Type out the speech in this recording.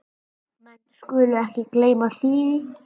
Menn skulu ekki gleyma því.